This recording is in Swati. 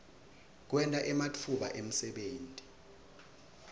kwenta ematfuba emsebenti